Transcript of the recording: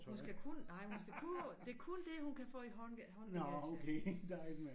Hun skal kun nej hun skal kun det kun det hun kan få i hånd håndbagagen